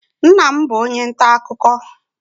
Nna m bụ onye nta akụkọ.